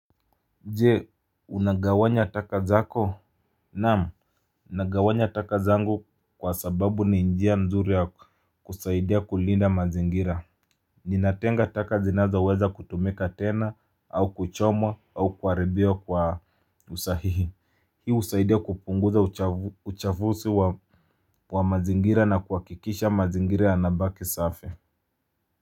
Je unagawanya taka zako naam nagawanya taka zangu kwa sababu ni njia nzuri ya kusaidia kulinda mazingira ninatenga taka zinazoweza kutumika tena au kuchomwa au kuharibiwa kwa usahihi hii husaidia kupunguza uchafuzi wa mazingira na kuhakikisha mazingira yanabaki safi.